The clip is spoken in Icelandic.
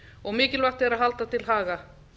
og mikilvægt er að halda til haga